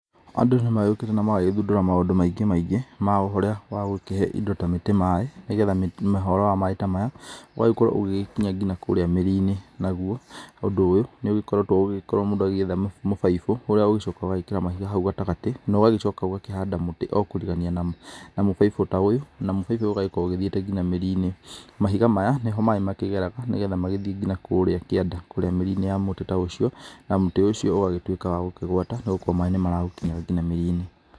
Andũ nĩ magĩokĩte na magagĩthundũra maũndũ maingĩ ma ũrĩa wagũkĩhe mĩtĩ maĩ nĩgetha ũhoro wa maĩ ta maya ũgagĩkorwo ũgĩkinya nginya kũrĩa mĩri-inĩ ,nagũo ũndũ ũyũ nĩ ũgĩkoretwo ũgĩkorwo mũndũ agĩetha mũbaibũ ũra ũgĩcokaga ũgekĩra mahiga haũ gatagatĩ no ũgagĩcoka ũgakĩhanda mũtĩ o kũrigania na mũbaibũ ũyũ na mũbaibũ ũyũ ũgagĩkorwo ũgĩthiĩte ngĩnya mĩrinĩ mahiga maya nĩ ho maĩ makĩgera nĩgetha magĩthiĩ nginya kũrĩa kĩanda kũrĩa mĩri-inĩ ya mũtĩ ta ũcio na mũtĩ ũcio ũgagĩtuĩka wa gũkĩgwata nĩgũkorwo maĩ nĩ mara ũkĩnyĩra nginya mĩri-inĩ.